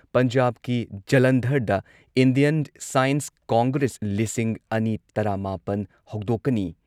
ꯄꯟꯖꯥꯕꯀꯤ ꯖꯂꯟꯙꯔꯗ Indian science congress ꯂꯤꯁꯤꯡ ꯑꯅꯤ ꯇꯔꯥꯃꯥꯄꯟ ꯍꯧꯗꯣꯛꯀꯅꯤ ꯫